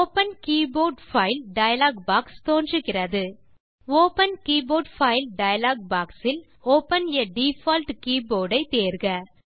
open keyboard file dialog box தோன்றுகிறது open keyboard file dialog box இல் open ஆ default keyboard ஐ தேர்க